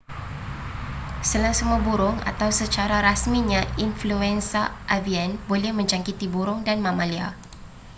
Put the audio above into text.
selesema burung atau secara rasminya influenza avian boleh menjangkiti burung dan mamalia